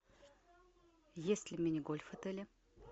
есть ли мини гольф в отеле